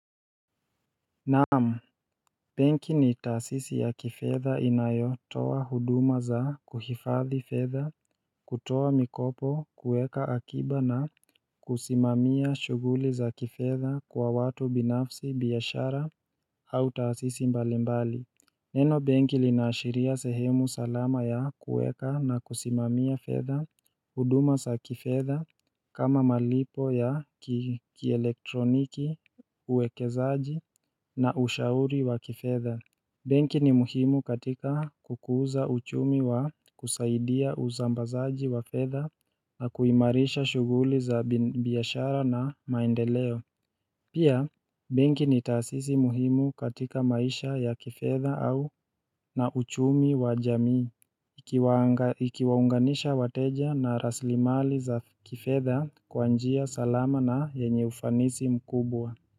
Naam, benki ni taasisi ya kifedha inayotoa huduma za kuhifadhi fedha kutoa mikopo kueka akiba na kusimamia shughuli za kifedha kwa watu binafsi biashara au taasisi mbalimbali Neno benki linaashiria sehemu salama ya kueka na kusimamia fedha huduma za kifedha kama malipo ya kielektroniki uwekezaji na ushauri wa kifedha benki ni muhimu katika kukuza uchumi wa kusaidia uzambazaji wa fedha na kuimarisha shughuli za biashara na maendeleo Pia, benki ni taasisi muhimu katika maisha ya kifedha au na uchumi wa jamii ikiwaunganisha wateja na rasilimali za kifedha kwa njia salama na yenye ufanisi mkubwa.